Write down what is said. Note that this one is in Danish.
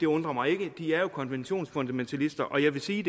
undrer mig ikke de er jo konventionsfundamentalister og jeg vil sige